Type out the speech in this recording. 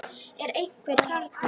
Er einhver þarna?